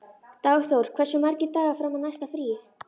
Dagþór, hversu margir dagar fram að næsta fríi?